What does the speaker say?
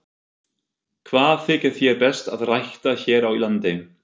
Hvað þykir þér best að rækta hér á landi?